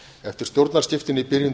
eftir stjórnarskiptin í byrjun